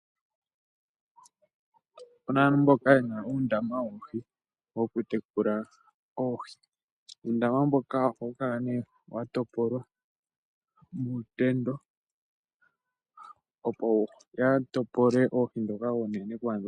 Opuna aantu ,mboka ye na uundam woohi, woku tekula oohi. Uundama mboka ohawu kala nee watopolwa muutendo, opo ya topole oodhi ndhoka oonene.